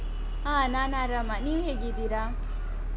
ಹ ನಾನ್ ಆರಾಮ. ನೀವ್ ಹೇಗಿದ್ದೀರಾ?